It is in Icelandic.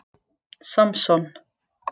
Samson